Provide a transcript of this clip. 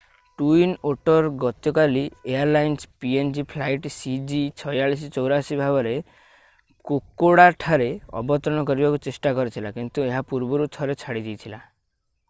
twin otter ଗତକାଲି airlines PNG flight ସିଜି4684 ଭାବରେ କୋକୋଡାଠାରେ ଅବତରଣ କରିବାକୁ ଚେଷ୍ଟା କରିଥିଲା କିନ୍ତୁ ଏହା ପୂର୍ବରୁ ଥରେ ଛାଡ଼ି ଦେଇଥିଲା